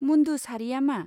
मुन्दु सारिया मा?